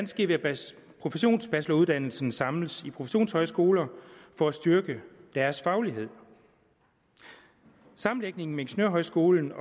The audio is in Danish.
ske ved at professionsbacheloruddannelserne samles i professionshøjskoler for at styrke deres faglighed sammenlægningen af ingeniørhøjskolen